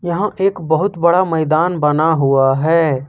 यहां एक बहुत बड़ा मैदान बना हुआ है।